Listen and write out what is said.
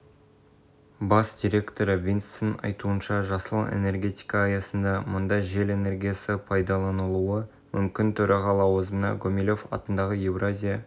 құқықтары бостандықтары және міндеттемелеріне қатысты нормативті-құқықтық акті жобаларын құруға мемлекеттік басқару және мемлекеттік аппараттың ашық